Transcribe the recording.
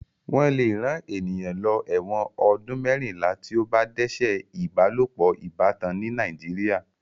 Wọ́n lè rán ènìyàn lọ ẹ̀wọ̀n ọdún mẹ́rìnlá tí ó bá dẹ́ṣẹ̀ ìbálopọ̀ ìbátan ní Nàìjíríà.